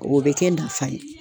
O bɛ kɛ nafa ye.